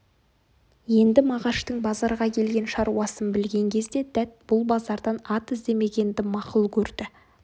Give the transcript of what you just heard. енді мағаштың базарға келген шаруасын білген кезде дәт бұл базардан ат іздемегенді мақұл көрді